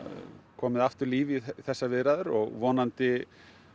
komið aftur líf í þessar viðræður og vonandi